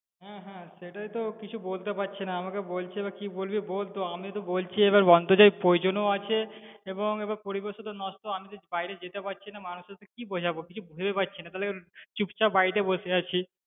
হ্যাঁ হ্যাঁ সেটাই তো কিছু বলতে পারছিনা, আমাকে বলছিলো কি বলবি বল, তো আমি তো বলছি এবার অন্তর্জাল প্রয়োজন ও আছে, এবং এবার পরিবেশ নষ্ট, আমি যে বাইরে যেতে পারছিনা, মানুষদেরকে কি বোঝাবো কিছু ভেবে পাচ্ছিনা তাহলে এবার চুপচাপ বাড়িতে বসে আছি।